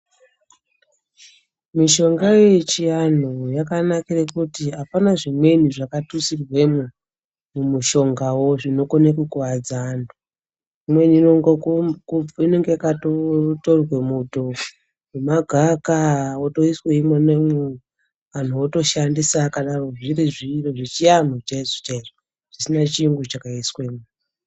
Mishonga yechianhu yakanakire kuti apana zvimweni zvakatutsirwemo mumushongawo zvinokone kukuwadza antu. Imweni inenge yakatotorwe muto wemagaka wotoiswe imomo anhu atoshandisa zvakadaro zvechianhu chaizvo chaizvo zvisina chiro chakaiswemo.